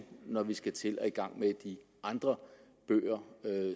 når vi skal til at i gang med de andre bøger